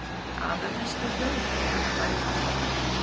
Aðalmiðstöð Þjóðverja var í hafnarbænum